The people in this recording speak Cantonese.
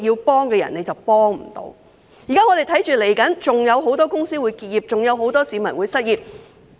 我們現在看到，未來還有很多公司會結業，還有很多市民會失業。